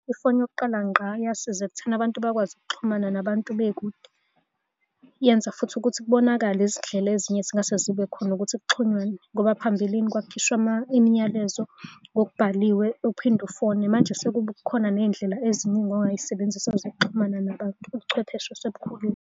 Ifoni yokuqala ngqa yasiza ekutheni abantu bakwazi ukuxhumana nabantu bekude. Yenza futhi ukuthi kubonakale izindlela ezinye ezingase zibe khona ukuthi kuxhunywe, ngoba phambilini kwakhishwa imiyalezo ngokubhaliwe, uphinde ufone, manje sekube khona ney'ndlela eziningi ongay'sebenzisa zokuxhumana nabantu, ubuchwepheshe sebukhulile.